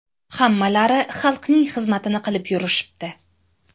Hammalari xalqning xizmatini qilib yurishibdi.